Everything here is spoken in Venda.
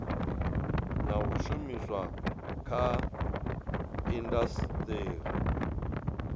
na u shumiswa kha indasiteri